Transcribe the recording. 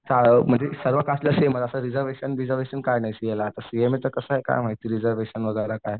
म्हणजे सर्व कास्टला सेमच असं रिजर्वेशन बिजर्वेशन असं काय नाही सीएला. सीएमएचं कसं आहे काय माहिती रिजर्वेशन वगैरे काय